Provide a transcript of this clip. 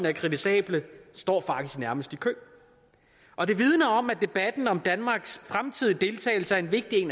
er kritisable står faktisk nærmest i kø og det vidner om at debatten om danmarks fremtidige deltagelse er vigtig